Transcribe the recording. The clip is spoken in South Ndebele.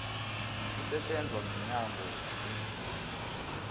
sisetjenzwa mnyango wezezindlu